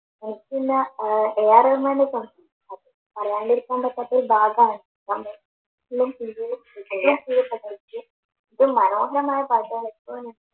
A R റഹ്മാൻറെ പാട്ട് പറയാണ്ടിരിക്കാൻ പറ്റാത്ത ഒരു ഭാഗമാണ് അതി മനോഹരമായ പാട്ടുകളാണ്